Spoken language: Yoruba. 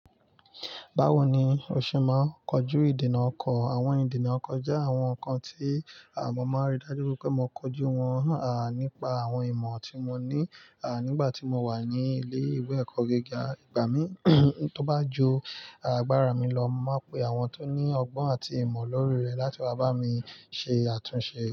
Báwo ni o ṣe máa ń kojú ìdènà ọkọ? Àwọn ìdènà ọkọ jẹ́ àwọn nǹkan tí mọ máa ń rí dájú wípé mo kójú wọn nípa àwọn ìmọ̀ tí mo ní nígbà tí mo wà ní ilé ìwé ẹ̀kọ́ gíga. Ìgbà mí tó bá ju, àgbára mi lọ, mo máa n pe àwọn tó ní ọgbọ́n àti ìmọ̀ lórí rẹ láti wá bá mi ṣe àtúnṣe.